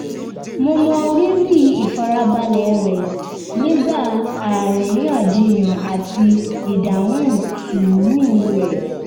mo mọ rírì ìfarabalẹ̀ rẹ̀ nígbà aríyànjiyàn àti ìdáhùn sùúrù rẹ̀